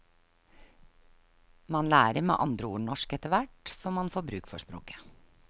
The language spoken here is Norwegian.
Man lærer med andre ord norsk etterhvert som man får bruk for språket.